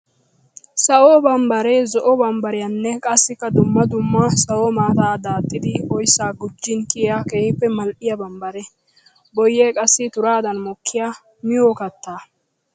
Sawo bambbare zo'o bambbariyanne qassikka dumma dumma sawo maataa daaxxiddi oyssa gujin kiyiya keehippe mali'iya bambbare. Boyye qassi turaddan mokiya miyo katta.